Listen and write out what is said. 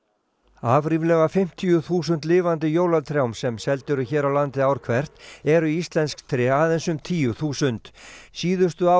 af ríflega fimmtíu þúsund lifandi jólatrjám sem seld eru hér á landi ár hvert eru íslensk tré aðeins um tíu þúsund síðustu ár